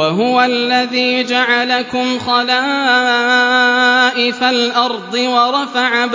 وَهُوَ الَّذِي جَعَلَكُمْ خَلَائِفَ الْأَرْضِ وَرَفَعَ